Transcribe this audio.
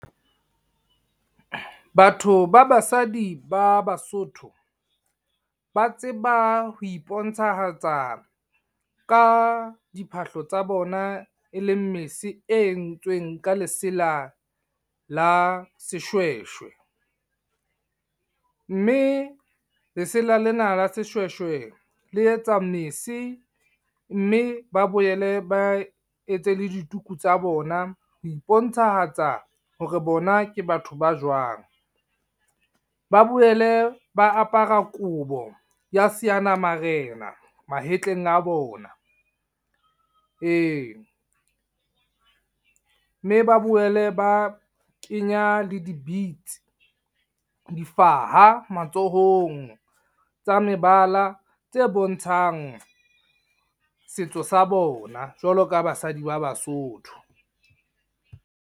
Batho ba basadi ba Basotho Ba tseba ho iponahatsa ka diphahlo tsa bona, e leng mese e entsweng ka lesela la seshweshwe. Mme lesela lena la seshweshwe, le etsa mese mme ba boele ba etse le dituku tsa bona. Ho ipontshahatsa hore bona ke batho ba jwang. Ba boele ba apara kobo ya seana-marena mahetleng a bona. Mme ba boele ba kenya le di-beads, difaha matsohong. Tsa mebala tse bontshang setso sa bona, jwalo ka basadi ba Basotho.